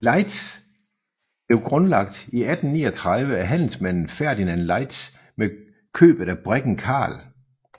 Laeisz blev grundlagt i 1839 af handelsmanden Ferdinand Laeisz med købet af briggen Carl